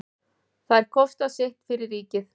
Þær kosta sitt fyrir ríkið.